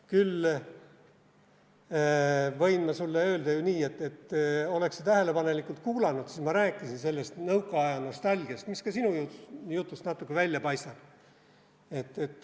Küll võin ma sulle öelda ju nii, et oleks sa tähelepanelikult kuulanud, siis ma rääkisin sellest nõukaaja nostalgiast, mis ka sinu jutust natuke välja paistab.